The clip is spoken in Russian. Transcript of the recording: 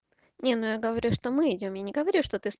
не ну я говорю что мы идём я не говорю что ты с